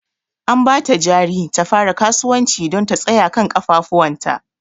An ba ta jari ta fara kasuwanci don ta tsaya kan ƙafafuwanta.